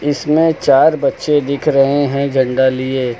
इसमें चार बच्चे दिख रहे हैं झंडा लिए।